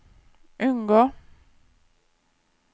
unngå